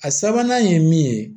A sabanan ye min ye